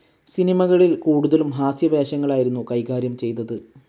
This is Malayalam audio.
സിനിമകളിൽ കൂടുതലും ഹാസ്യവേഷങ്ങളായിരുന്നു കൈകാര്യം ചെയ്തത്.